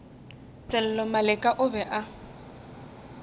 sello maleka o be a